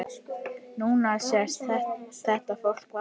Núna sést þetta fólk varla.